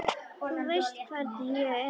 Þú veist hvernig ég er.